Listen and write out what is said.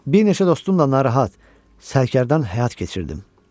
Bir neçə dostumla narahat, sərkərdən həyat keçirdim.